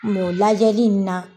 o lajali in na